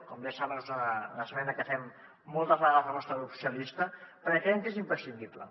com bé saben és una esmena que fem moltes vegades el nostre grup socialistes perquè creiem que és imprescindible